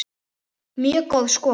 Mjög góð skor.